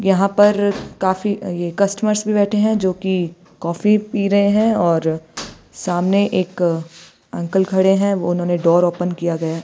यहां पर काफी ये कस्टमर्स भी बैठे हैं जो कि कॉफी पी रहे हैं और सामने एक अंकल खड़े हैं उन्होंने डोर ओपन किया गया--